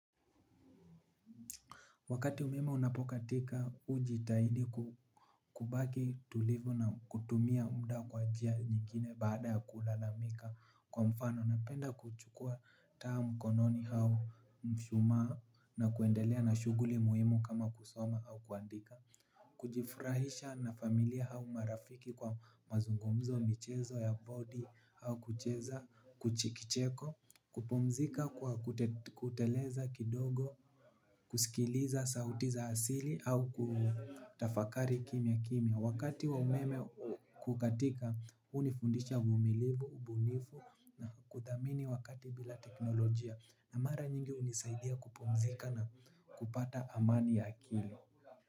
Wakati umeme unapokatika, ujitahidi kubaki tulivu na kutumia muda kwa njia nyingine baada ya kulalamika. Kwa mfano, napenda kuchukua taa mkononi au mshumaa na kuendelea na shuguli muhimu kama kusoma au kuandika. Kujifurahisha na familia au marafiki kwa mazungumzo michezo ya body au kucheza kuchikicheko. Kupumzika kwa kuteleza kidogo kusikiliza sauti za asili au kutafakari kimya kimya wakati wa umeme kukatika unifundisha uvumilivu ubunifu na kuthamini wakati bila teknolojia na mara nyingi unisaidia kupumzika na kupata amani ya akili.